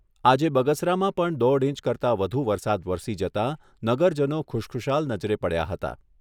આજે બગસરામાં પણ દોઢ ઇંચ કરતા વધુ વરસાદ વરસી જતા નગરજનો ખુશખુશાલ નજરે પડ્યા હતા.